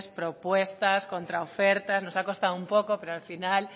propuestas contraofertas nos ha costado un poco pero al final